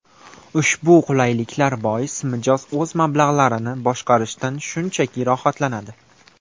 Ushbu qulayliklar bois, mijoz o‘z mablag‘larini boshqarishdan shunchaki rohatlanadi.